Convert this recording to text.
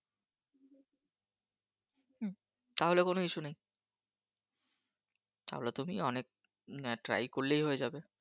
তাহলে কোন Issue নেই। তাহলে তুমি অনেক Try করলেই হয়ে যাবে।